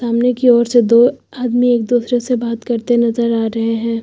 सामने की ओर से दो आदमी एक दूसरे से बात करते नज़र आ रहे हैं।